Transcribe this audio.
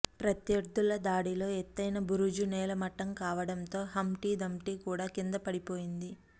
ప్రత్యర్థుల దాడిలో ఎతె్తైన బురుజు నేలమట్టం కావడంతో హంప్టీ దంప్టీ కూడా కింద పడిపోయింది